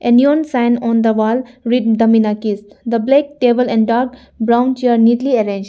A neon sign on the wall written the minakys the black table and dark brown chair neatly arranged.